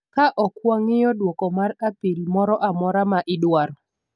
Ka ok wang'iyo duoko mar apil moro amora ma idwaro,